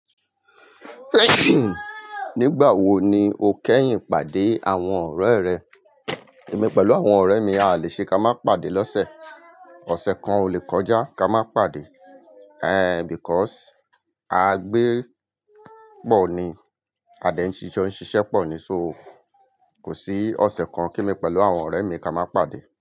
Nígbà wo ni o kẹ́yìn pàdé àwọn ọ̀rẹ́ rẹ? Èmi pẹ̀lú àwọn ọ̀rẹ́ mi a lè ṣe kí a má pàdé lọ́sẹ̀. Ọ̀sẹ̀ kan ò lè kọjá ká má pàdé. Because à gbé pọ̀ ni, à dé jo ṣiṣẹ́ pọ̀ ni, so kò sí ọ̀sẹ̀ kan, kí èmi pẹ̀lú àwọn ọ̀rẹ́ mi kí a má pàdé.